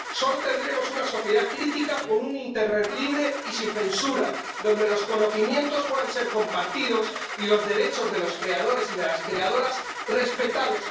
Solo tendremos una sociedad crítica con un internet libre y sin censura, donde los conocimientos puedan ser compartidos y los derechos de los creadores y de las creadoras respetados.